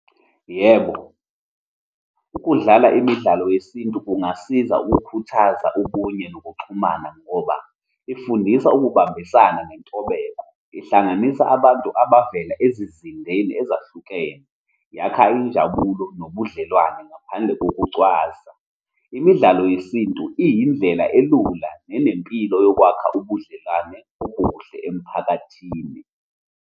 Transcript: Yebo, ukudlala imidlalo yesintu kungasiza ukukhuthaza ubunye nokuxhumana, ngoba ifundisa ukubambisana nentobeko, ihlanganisa abantu abavela ezizindeni ezahlukene, yakha injabulo nobudlelwane ngaphandle kokucwasa. Imidlalo yesintu iyindlela elula nenempilo yokwakha ubudlelwane obuhle emphakathini.